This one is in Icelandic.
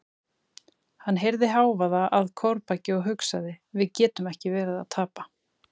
Hann heyrði hávaða að kórbaki og hugsaði: við getum ekki verið að tapa.